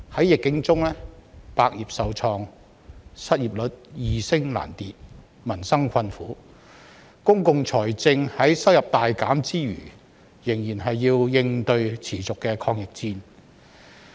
疫境中百業受創、失業率易升難跌、民生困苦，公共財政在收入大減之餘仍要應對持續的抗疫戰。